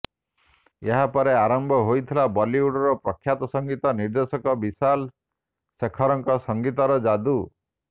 ଏହାପରେ ଆରମ୍ଭ ହୋଇଥିଲା ବଲିଉଡର ପ୍ରଖ୍ୟାତ ସଙ୍ଗୀତ ନିର୍ଦ୍ଦେଶକ ବିଶାଲ ଶେଖରଙ୍କ ସଙ୍ଗୀତର ଯାଦୁ